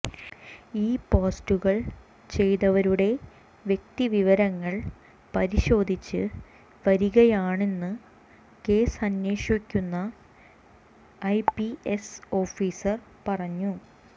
ഈ പോസ്റ്റുകൾ ചെയ്തവരുടെ വ്യക്തിവിവരങ്ങൾ പരിശോധിച്ച് വരികയാണെന്ന് കേസ് അന്വേഷിക്കുന്ന ഐപിഎസ് ഓഫീസർ പറഞ്ഞു